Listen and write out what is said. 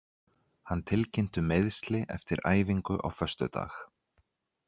Hann tilkynnti um meiðsli eftir æfingu á föstudag.